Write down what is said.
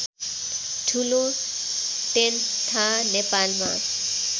ठुलो टेन्था नेपालमा